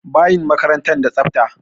Bayin makarantar da tsafta.